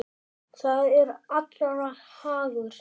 Það er allra hagur.